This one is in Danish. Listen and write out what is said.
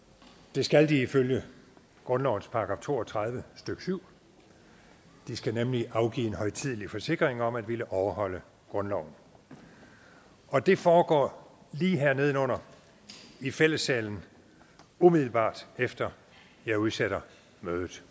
det skal de ifølge grundlovens § to og tredive stykke syv de skal nemlig afgive en højtidelig forsikring om at ville overholde grundloven og det foregår lige her nede under i fællessalen umiddelbart efter at jeg udsætter mødet